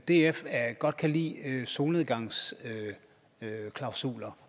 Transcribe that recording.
df godt kan lide solnedgangsklausuler